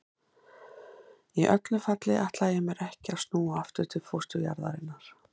Í öllu falli ætlaði ég mér ekki að snúa aftur til fósturjarðarinnar.